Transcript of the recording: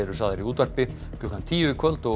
sagðar í útvarpi klukkan tíu í kvöld og